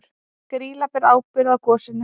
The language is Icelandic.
Grýla ber ábyrgð á gosinu